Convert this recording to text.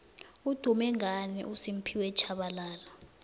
udume ngani ufphiwe shabalala